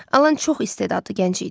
Alan çox istedadlı gənc idi.